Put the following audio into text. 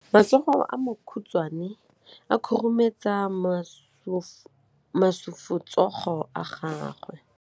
Matsogo a makhutshwane a khurumetsa masufutsogo a gago.